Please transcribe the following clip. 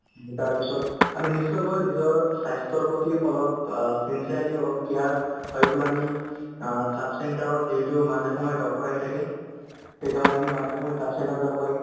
এই তাৰপিছত আমি নিশ্চয়কৈ নিজৰ স্বাস্থ্যৰ প্ৰতি অলপ অ sincerely অলপ care কৰি পেলাই আমি অ sub centre ত যিহেতু মাজে সময়ে doctor আহি থাকে তেতিয়াহ'লে আমি মাজে সময়ে sub centre ত যাব লাগে